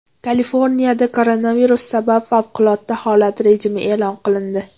Kaliforniyada koronavirus sabab favqulodda holat rejimi e’lon qilindi .